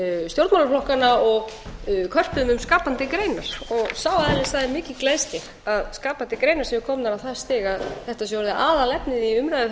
stjórnmálaflokkanna og körpuðum um skapandi greinar sá aðili sagði mikið gleðst ég að skapandi greinar séu komnar á það stig að þetta sé orðið aðalefnið í umræðuþættinum